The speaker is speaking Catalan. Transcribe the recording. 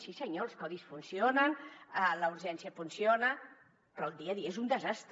sí senyor els codis funcionen la urgència funciona però el dia a dia és un desastre